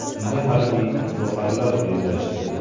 Unda harbiy itboqarlar bellashdi.